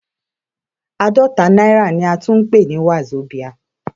Àádọ́ta náírà ni a tún ń pè ní Wazobia.